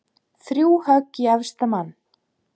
Þrjú högg í efsta mann.